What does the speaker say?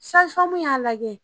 Sazi famu y'a lajɛ